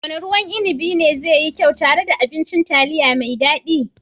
Wanne ruwan inibi ne zai yi kyau tare da abincin taliya mai daɗi?